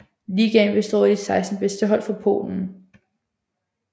Ligaen består af de 16 bedste hold fra Polen